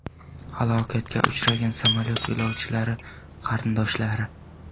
Halokatga uchragan samolyot yo‘lovchilari qarindoshlari.